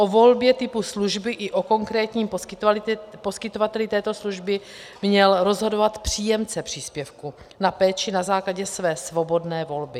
O volbě typu služby i o konkrétním poskytovateli této služby měl rozhodovat příjemce příspěvku na péči na základě své svobodné volby.